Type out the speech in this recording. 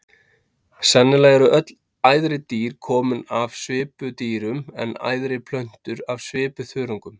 Sennilega eru öll æðri dýr komin af svipudýrum en æðri plöntur af svipuþörungum.